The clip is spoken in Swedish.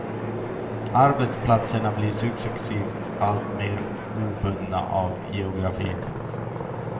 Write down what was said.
Arbetsplatserna blir successivt alltmer obundna av geografin.